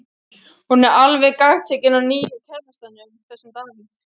Hún er alveg gagntekin af nýja kærastanum, þessum Davíð.